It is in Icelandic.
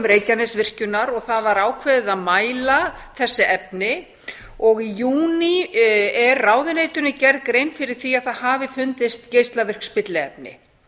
reykjanesvirkjunar og það var ákveðið að mæla þessi efni og í júní er ráðuneytinu gerð grein fyrir því að það hafi fundist geislavirk spilliefni